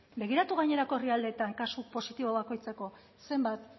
begiratu gainerako herrialdeetan kasu positibo bakoitzeko zenbat